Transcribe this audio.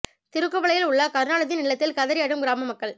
திருக்குவளையில் உள்ள கருணாநிதியின் இல்லத்தில் கதறி அழும் கிராம மக்கள்